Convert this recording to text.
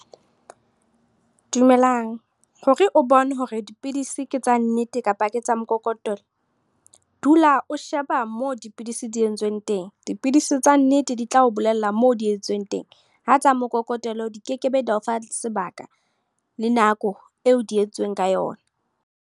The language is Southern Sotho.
Dumelang, hore o bone hore dipidisi ke tsa nnete kapa ke tsa mokokotelo. Dula o sheba moo dipidisi di entsweng teng. Dipidisi tsa nnete di tla o bolella mo di entsweng teng. Ha tsa mokokotelo di kekebe, tsa o fa sebaka le nako eo di entsweng ka yona.